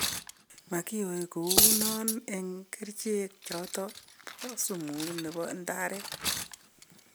Makyoe kounon en ekrichek choton po sumu chebo ndaret